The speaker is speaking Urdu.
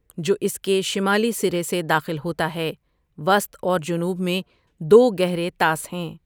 جو اس کے شمالی سرے سے داخل ہوتا ہے وسط اور جنوب میں دو گہرے طاس ہیں ۔